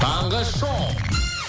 таңғы шоу